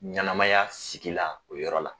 Ɲɛnamaya sigi la o yɔrɔ la